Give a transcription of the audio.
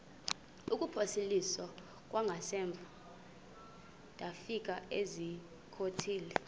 kuphosiliso kwangaemva ndafikezizikotile